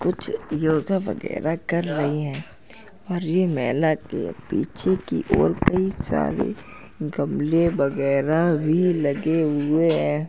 कुछ योगा वगैरह कर रही हैं और ये महिला के पीछे की ओर कई सारे गमले वगैरह भी लगे हुए हैं।